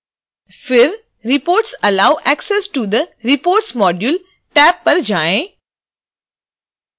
फिर reports allow access to the reports module tab पर आएँ